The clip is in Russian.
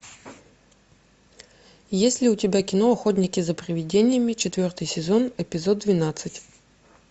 есть ли у тебя кино охотники за привидениями четвертый сезон эпизод двенадцать